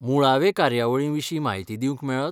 मुळावे कार्यावळीविशीं म्हायती दिवंक मेळत?